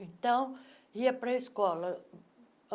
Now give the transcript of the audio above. Então, ia para a escola.